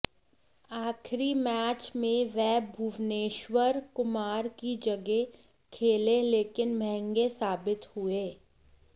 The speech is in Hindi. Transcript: आखिरी मैच में वह भुवनेश्वर कुमार की जगह खेले लेकिन महंगे साबित हुए